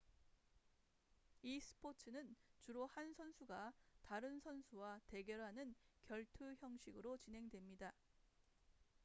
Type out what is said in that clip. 이 스포츠는 주로 한 선수가 다른 선수와 대결하는 결투 형식으로 진행됩니다